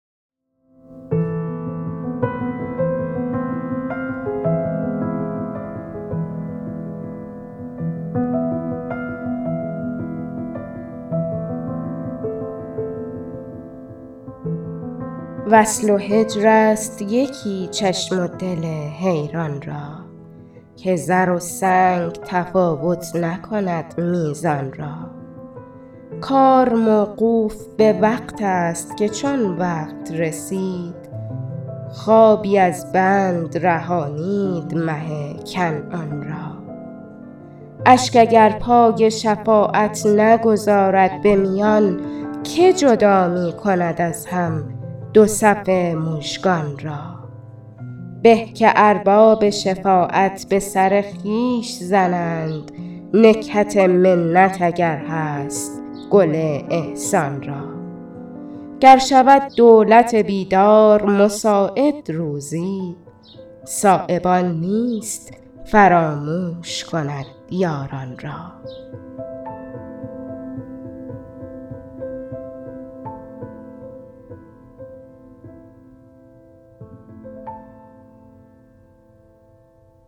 وصل و هجرست یکی چشم و دل حیران را که زر و سنگ تفاوت نکند میزان را کار موقوف به وقت است که چون وقت رسید خوابی از بند رهانید مه کنعان را اشک اگر پای شفاعت نگذارد به میان که جدا می کند از هم دو صف مژگان را به که ارباب شفاعت به سر خویش زنند نکهت منت اگر هست گل احسان را گر شود دولت بیدار مساعد روزی صایب آن نیست فراموش کند یاران را